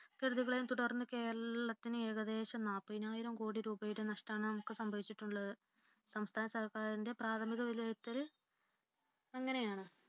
കെടുതികളെയും തുടർന്ന് കേരളത്തിനു ഏകദേശം നാല്പതിനായിരം കോടി രൂപയുടെ നഷ്ടമാണ് നമുക്ക് സംഭവിച്ചിട്ടുള്ളത് സംസ്ഥാന സർക്കാരിന്റെ പ്രാഥമിക വിലയിരുത്തൽ അങ്ങനെയാണ്